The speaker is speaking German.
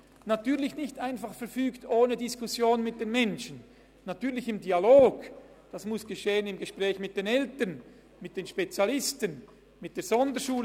Natürlich geschieht dies nicht einfach ohne Diskussion mit den Menschen, natürlich geschieht dies im Dialog, im Gespräch mit den Eltern, mit den Spezialisten, mit der Sonderschule.